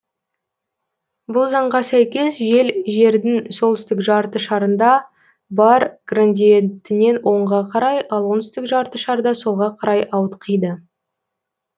бұл заңға сәйкес жел жердің солтүстік жарты шарында бар градиентінен оңға карай ал оңтүстік жарты шарда солға қарай ауытқиды